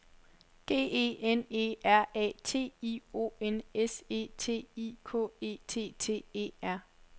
G E N E R A T I O N S E T I K E T T E R